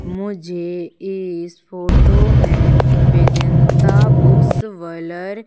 मुझे इस फोटो में बेदेंता बुक्स वलर--